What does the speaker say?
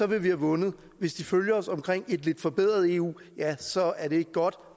vil vi have vundet hvis den følger os omkring et lidt forbedret eu ja så er det ikke godt